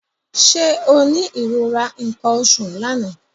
Ṣé o ní ìrora nǹkan oṣù l'àná?